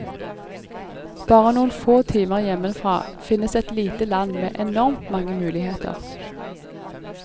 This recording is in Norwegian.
Bare noen få timer hjemmefra finnes et lite land med enormt mange muligheter.